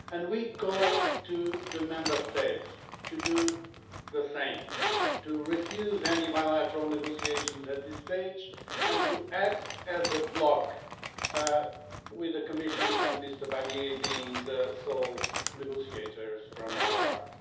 We call on the Member States to do the same, to refuse any bilateral negotiations at this stage, and to act as a bloc, with the Commission and Mr Barnier being the sole negotiators on our part.